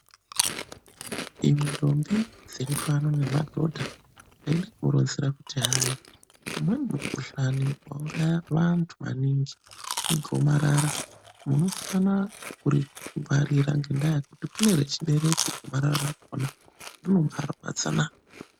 Imwi ndombi dziri pano nemadhodha, ndaida kumuronzera kuti hai umweni mukhuhlani wauraya vantu maningi igomarara. Munofana kuringwarira ngendaa yekuti kune rechibereko gomarara rakhona rinobarwadzana.